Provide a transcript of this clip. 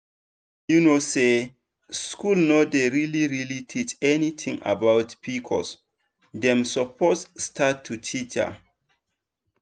you know say school no dey really really teach anything about pcosdem suppose start to teach am.